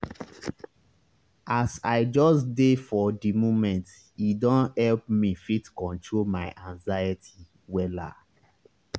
as i just dey for di momente don help me fit control my anxiety wella.